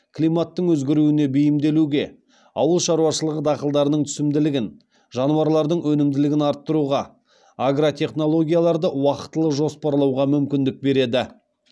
климаттың өзгеруіне бейімделуге ауыл шаруашылығы дақылдарының түсімділігін жануарлардың өнімділігін арттыруға агротехнологияларды уақытылы жоспарауға мүмкіндік береді